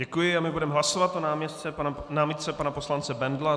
Děkuji a my budeme hlasovat o námitce pana poslance Bendla.